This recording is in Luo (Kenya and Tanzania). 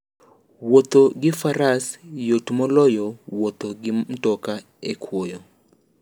Wuotho gi faras yot moloyo wuotho gi mtoka e kwoyo.